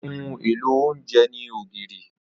Ohun èlò oúnjẹ ní ògìrì.